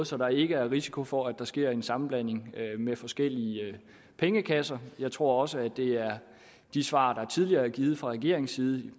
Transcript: så der ikke er risiko for at der sker en sammenblanding af forskellige pengekasser jeg tror også at det er de svar der tidligere er givet fra regeringens side